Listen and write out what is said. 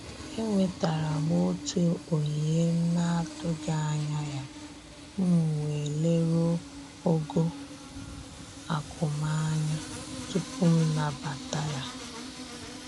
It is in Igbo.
E nwetara m otu onyinye m na-atụghị anya ya, m wee leruo ogo akụ m anya tupu m nabata ya